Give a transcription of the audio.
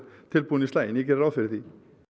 tilbúinn í slaginn ég geri ráð fyrir því